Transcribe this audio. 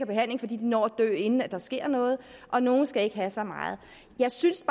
behandling fordi de når at dø inden der sker noget og nogle skal ikke have så meget jeg synes